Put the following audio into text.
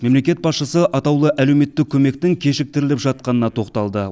мемлекет басшысы атаулы әлеуметтік көмектің кешіктіріліп жатқанына тоқталды